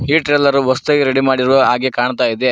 ಈ ಟ್ರೇಲರು ಹೊಸದಾಗಿ ರೆಡಿ ಮಾಡಿರೋ ಹಾಗೆ ಕಾಣತಾಇದೆ.